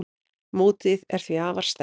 Mótið er því afar sterkt.